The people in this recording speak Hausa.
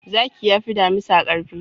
Zaki yafi damisa karfi.